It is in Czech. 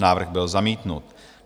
Návrh byl zamítnut.